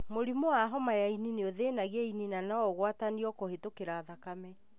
Mũrimũ wa homa ya ini nĩũthĩnagia ini na noũgwatanio kũhĩtũkĩra thakame